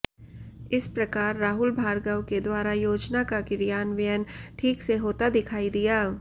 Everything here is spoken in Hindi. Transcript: इस प्रकार राहुल भार्गव के द्वारा योजना का क्रियान्वयन ठीक से होता दिखाई दिया